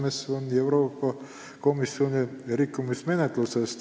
Vastus: siis alustab Euroopa Komisjon rikkumismenetlust.